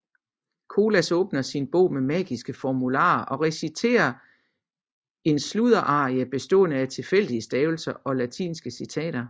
Colas åbner sin bog med magiske formularer og reciterer en sludderarie bestående af tilfældige stavelser og latinske citater